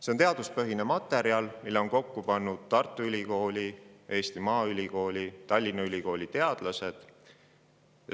See on teaduspõhine materjal, mille on kokku pannud Tartu Ülikooli, Eesti Maaülikooli ning Tallinna Ülikooli teadlased.